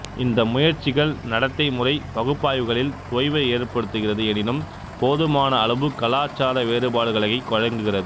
இந்த முயற்சிகள் நடத்தைமுறை பகுப்பாய்வுகளில் தொய்வை ஏற்படுத்துகிறது எனினும் போதுமான அளவு கலாச்சார வேறுபாடுகளுகளை வழங்குகிறது